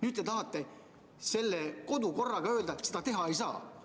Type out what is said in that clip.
Aga teie tahate kodu- ja töökorra seaduses tehtava muudatusega öelda, et seda teha ei saa.